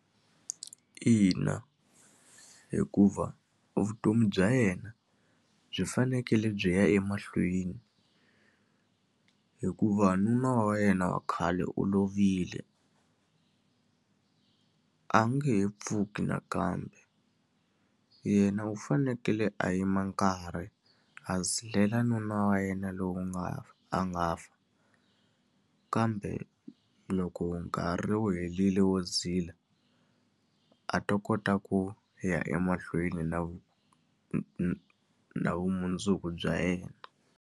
Ina, hikuva vutomi bya yena byi fanekele byi ya emahlweni. Hikuva nuna wa yena wa khale u lovile, a nge he pfuki nakambe. Yena u fanekele a yima nkarhi, a zilela nuna wa yena lowu nga a nga fa. Kambe loko nkarhi wu herile wo zila, a ta kota ku ya emahlweni na na na vumundzuku bya yena.